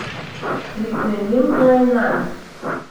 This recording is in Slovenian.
Priklenil ga je nanj.